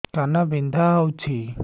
କାନ ବିନ୍ଧା ହଉଛି